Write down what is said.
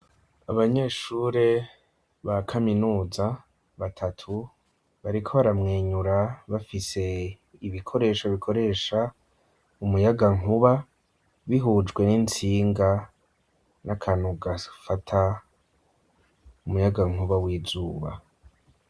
Abanyeshure ba kaminuza batatu, bariko baramwenyura bafise ibikoresho bikoresha umuyagankuba bihujwe n'intsinga n'akantu gafata umuyagankuba w'izuba.